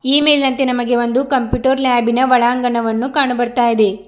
ಈ ಮೇಲಿನಂತೆ ನಮಗೆ ಒಂದು ಕಂಪ್ಯೂಟರ್ ಲ್ಯಾಬಿನ ಒಳಾಂಗಣವನ್ನು ಕಾಣಬರ್ತಾಯಿದೆ.